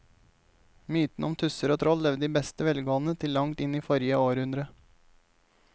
Mytene om tusser og troll levde i beste velgående til langt inn i forrige århundre.